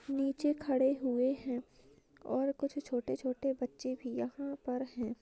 नीचे खड़े हुए है और कुछ छोटे छोटे बच्चे भी यहाँ पर है।